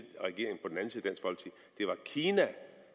det var kina